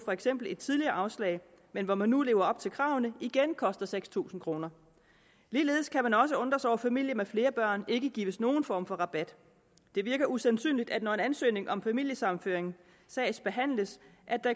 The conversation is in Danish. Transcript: for eksempel et tidligere afslag men hvor man nu lever op til kravene igen koster seks tusind kroner ligeledes kan man også undre sig over at familier med flere børn ikke gives nogen form for rabat det virker usandsynligt at når en ansøgning om familiesammenføring sagsbehandles